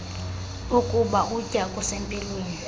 bokuba ukutya okusempilweni